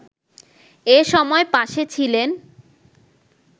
এ সময় পাশে ছিলেন